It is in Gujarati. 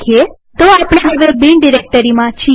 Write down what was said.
તો આપણે હવે બિન ડિરેક્ટરીમાં છીએ